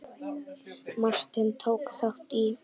Martin, tók þátt í.